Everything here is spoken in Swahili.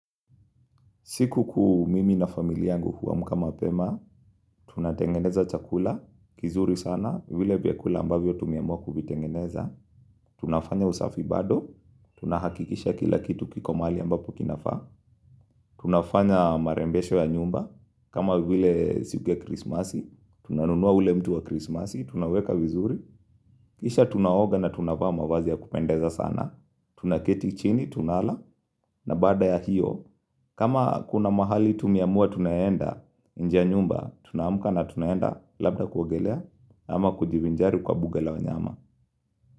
Siku kuu mimi na familia yangu huamka mapema, tunatengeneza chakula, kizuri sana, vile vya kula ambavyo tumeamua kuvitengeneza. Tunafanya usafi bado, tunahakikisha kila kitu kiko mali ambapo kinafaa, tunafanya marembesho ya nyumba, kama vile siku ya krismasi, tunanunua ule mtu wa krismasi, tunauweka vizuri. Kisha tunaoga na tunavaa mavazi ya kupendeza sana, tunaketi chini, tunala, na baada ya hiyo, kama kuna mahali tumeamua tunaenda, nje ya nyumba tunaamuka na tunaenda labda kuogelea ama kujivinjari kwa buga la wanyama.